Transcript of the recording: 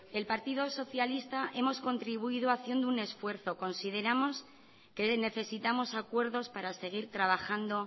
el partido socialista hemos contribuido haciendo un esfuerzo consideramos que necesitamos acuerdos para seguir trabajando